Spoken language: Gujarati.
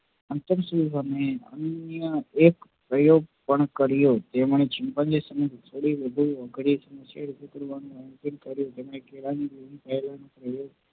અંતરસુદ અને તે પ્રયોગ પણ કર્યો જે મને chimpanzee સમક્ષ થોડી વધુ અઘરી